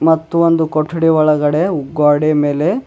ಮತ್ತು ಒಂದು ಕೊಠಡಿ ಒಳಗಡೆ ಗೋಡೆ ಮೇಲೆ--